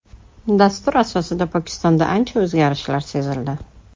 Dastur asosida Pokistonda ancha o‘zgarishlar sezildi.